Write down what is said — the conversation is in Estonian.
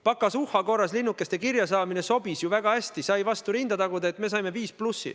Pokazuha korras linnukeste kirja saamine sobis ju väga hästi, sai vastu rinda taguda, et me saime "5+".